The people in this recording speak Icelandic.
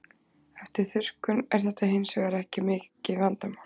Eftir þurrkun er þetta hins vegar ekki vandamál.